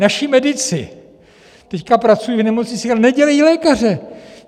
Naši medici teď pracují v nemocnicích, ale nedělají lékaře.